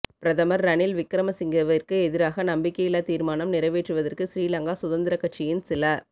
பிரதமர் ரணில் விக்ரமசிங்கவிற்கு எதிராக நம்பிக்கையில்லா தீர்மானம் நிறைவேற்றுவதற்கு ஸ்ரீலங்கா சுதந்திரக் கட்சியின் சில